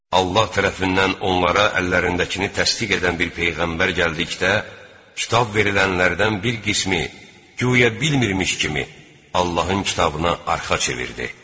Allah tərəfindən onlara əllərindəkini təsdiq edən bir peyğəmbər gəldikdə, Kitab verilənlərdən bir qismi, guya bilmirmiş kimi, Allahın Kitabına arxa çevirdi.